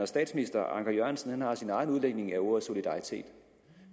statsminister anker jørgensen har sin egen udlægning af ordet solidaritet